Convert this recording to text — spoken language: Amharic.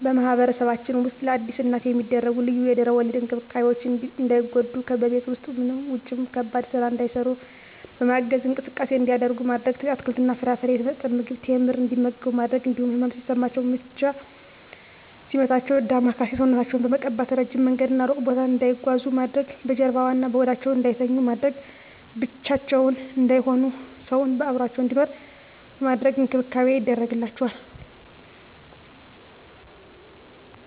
በማህበረሰባችን ውስጥ ለአዲስ እናት የሚደረጉ ልዩ የድህረ ወሊድ እንክብካቤዎች እንዳይጎዱ በቤት ውስጥም ውጭም ከባድ ስራ እንዳይሰሩ በማገዝ፣ እንቅስቃሴ እንዲያደርጉ ማድረግ፣ አትክልትና ፍራፍሬ፣ የተመጣጠነ ምግብ፣ ቴምር እንዲመገቡ በማድረግ እንዲሁም ህመም ሲሰማቸው ምች ሲመታቸው ዳማከሴ ሰውነታቸውን በመቀባት፣ እረጅም መንገድና እሩቅ ቦታ እንዳይጓዙ ማድረግ፣ በጀርባዋ እና በሆዳቸው እንዳይተኙ በማድረግ፣ ብቻቸውን እንዳይሆኑ ሰው አብሮአቸው እንዲኖር በማድረግ እንክብካቤ ይደረግላቸዋል።